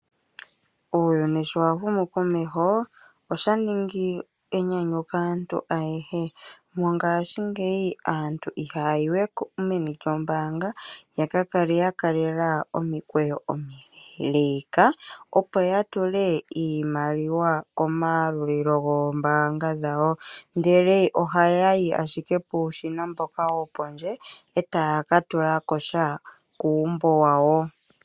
Uuyuni shi wa humu komeho, osha ningi enyanyu kaantu ayehe. Mongaashingeyi aantu haya yi we meni lyombaanga ya ka kale ya kalela omikweyo omileeleeka, opo ya tule iimaliwa komayalulilo goombaanga dhawo, ndele ohaya yi ashike puushina mboka wo pondje e taya ka tula ko sha kuumbo wawo.